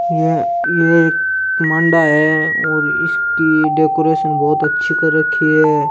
यह एक मांडा है इसकी डेकोरेशन बहुत अच्छी कर राखी है।